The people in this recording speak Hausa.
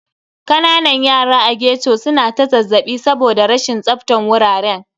Kananan yara a ghetto su na ta zazzaɓi saboda rashin tsaftan wuraren.